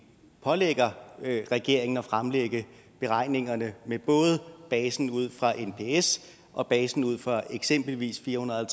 pålægger regeringen at fremlægge beregningerne med både basen ud fra nps og basen ud fra eksempelvis fire hundrede og